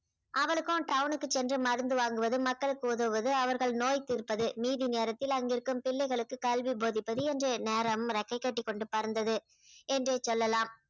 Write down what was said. அவளுக்கும் town க்கு சென்று மருந்து வாங்குவது மக்களுக்கு உதவுவது அவர்கள் நோய் தீர்ப்பது மீதி நேரத்தில் அங்கு இருக்கும் பிள்ளைகளுக்கு கல்வி போதிப்பது என்று நேரம் றெக்கை கட்டிக்கொண்டு பறந்தது என்றே சொல்லலாம்